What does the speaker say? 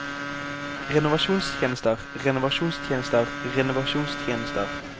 renovasjonstjenester renovasjonstjenester renovasjonstjenester